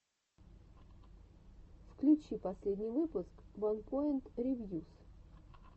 включи последний выпуск ванпоинт ревьюс